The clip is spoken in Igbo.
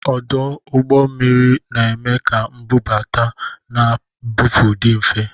Ọdụ ụgbọ mmiri na-eme ka mbubata na mbupụ dị mfe